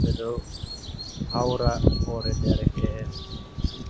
ɓe ɗo hawra hoore dereke’en.